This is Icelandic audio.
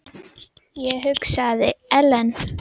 Ég hugsaði: Ellen?